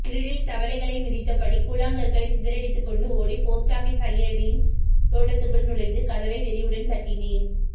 இருட்டில் தவளைகளை மிதித்தபடி கூழாங்கற்களை சிதறடித்துக்கொண்டு ஓடி போஸ்டாபீஸ் அய்யரின் தோட்டத்துக்குள் நுழைந்து கதவை வெறியுடன் தட்டினேன்